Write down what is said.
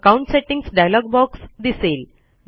account settings dialog box दिसेल